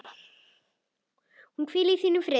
Hún hvíli í þínum friði.